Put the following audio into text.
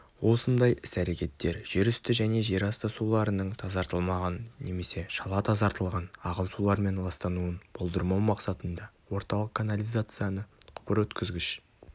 осындай іс-рекеттер жерүсті және жерасты суларының тазартылмаған немесе шала тазартылған ағын сулармен ластануын болдырмау мақсатында орталық канализацияны құбырөткізгіш